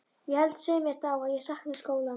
Ég held, svei mér þá, að ég sakni skólans.